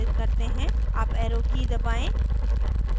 up arrow की दबाएं